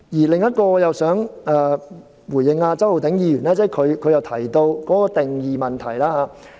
另外，我也想回應周浩鼎議員提到定義的問題。